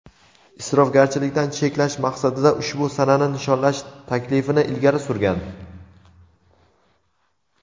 isrofgarchilikdan cheklash maqsadida ushbu sanani nishonlash taklifini ilgari surgan.